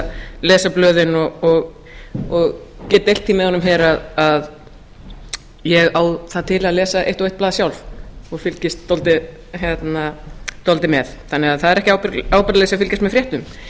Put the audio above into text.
að lesa blöðin og get deilt því með honum hér að ég á það til að lesa eitt og eitt blað sjálf og fylgist dálítið með þannig að það er ekki ábyrgðarleysi að fylgjast með fréttum